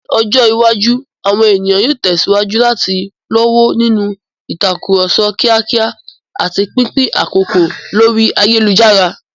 Ní ọjọ́ iwájú, àwọn ènìyàn yóò tẹ̀síwájú láti lọ́wọ́ nínú ìtàkùrọ̀sọ kíákíá àti pínpín àkókò lórí ayélujára.